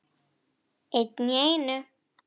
Einn í einu.